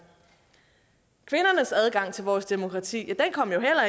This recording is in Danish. kvindernes adgang til vores demokrati kom jo